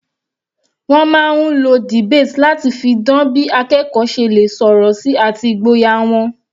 Wọ́n máa ń lo debate láti fi dan bí akẹ́kọ̀ọ́ ṣe lè sọ̀rọ̀ sí àti ìgboyà wọn.